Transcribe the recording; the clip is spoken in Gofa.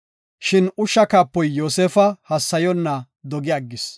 Shin ushsha kaapoy Yoosefa hassayonna dogi aggis.